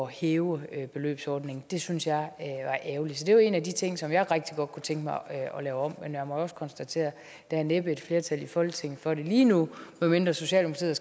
hæve beløbsordningen det syntes jeg ærgerligt så det er en af de ting som jeg rigtig godt kunne tænke mig at lave om men jeg må også konstatere at der næppe er et flertal i folketinget for det lige nu medmindre socialdemokratiet